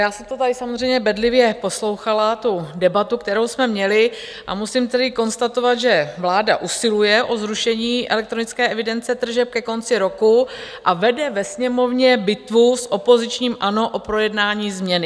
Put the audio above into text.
Já jsem to tady samozřejmě bedlivě poslouchala, tu debatu, kterou jsme měli, a musím tedy konstatovat, že vláda usiluje o zrušení elektronické evidence tržeb ke konci roku a vede ve Sněmovně bitvu s opozičním ANO o projednání změny.